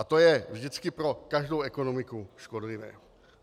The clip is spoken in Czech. A to je vždycky pro každou ekonomiku škodlivé.